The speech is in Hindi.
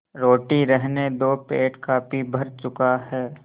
रोटी रहने दो पेट काफी भर चुका है